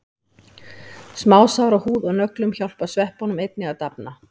Smásár á húð og nöglum hjálpa sveppunum einnig að dafna.